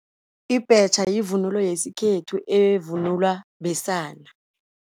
Ibhetjha yivunulo yesikhethu evunulwa besana.